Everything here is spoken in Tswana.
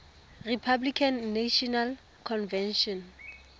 republican national convention